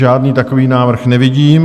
Žádný takový návrh nevidím.